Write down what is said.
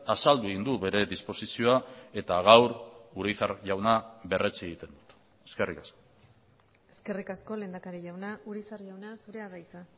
azaldu egin du bere disposizioa eta gaur urizar jauna berretsi egiten dut eskerrik asko eskerrik asko lehendakari jauna urizar jauna zurea da hitza